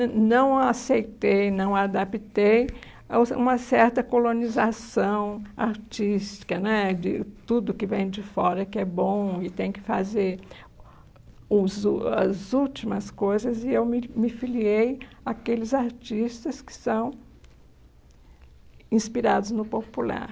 nã e não a aceitei, não adaptei aos a uma certa colonização artística né, de tudo que vem de fora que é bom e tem que fazer os úl as últimas coisas, e eu me me filiei àqueles artistas que são inspirados no popular.